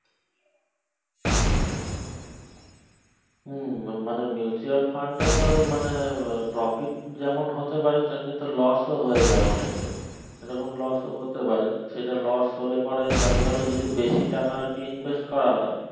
হুম মা~মানে mutual fund টা তো মানে আহ profit যেমন হতে পারে সেমনি তো loss ও হয়ে যায় অনেকের তখন loss ও হতে পারে সেটা loss হলে পরে দেখা গেলো যে কি বেশি টাকা আরকি invest করা হয়